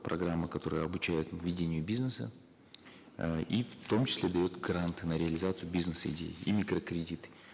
программа которая обучает ведению бизнеса э и в том числе дает гранты на реализацию бизнес идеи и микрокредиты